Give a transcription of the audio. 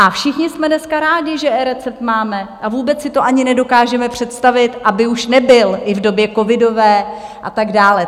A všichni jsme dneska rádi, že eRecept máme a vůbec si to ani nedokážeme představit, aby už nebyl, i v době covidové a tak dále.